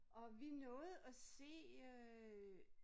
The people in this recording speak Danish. Og vi nåede at se øh